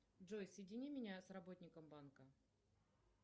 джой соедини меня с работником банка